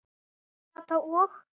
Kata og